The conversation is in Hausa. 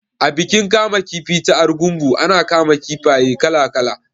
A bikin kama kifi ta Argungu ana kama kifaye kala kala